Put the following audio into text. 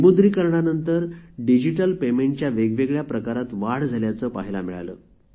विमुद्रीकरणानंतर digital पेमेंटच्या वेगवेगळ्या प्रकारात वाढ झाल्याचे पहायला मिळाले